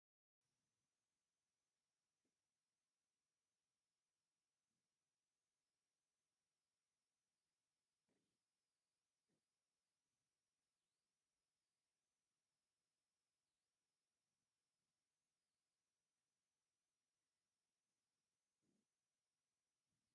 ሓንቲ ቀያሕ ሰበይቲ ጋመ ዝበሃል ቁኖ ተቆኒና አብ እዝና ፃዕዳ ሕብሪ ዘለዎ ብሪ ኩትሻ ገይራ አብ ርእሳ ከዓ ቆፃል ሕብሪ ዘለዎ ቃጤማ ገይራ ብዒባ ሕብሪ ድሕረ ባይታ ትርከብ፡፡ እዚ ቃጤማ አብ ርእስካ ዝእሰር መዓዝ እዩ?